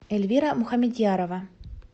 эльвира мухамедьярова